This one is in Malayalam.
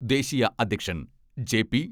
ദേശീയ അധ്യക്ഷൻ ജെ.പി.